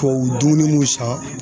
Tubabu dumuni mun san